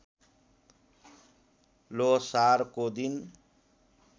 ल्होसारको दिन